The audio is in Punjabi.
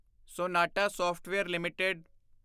sonata software LTD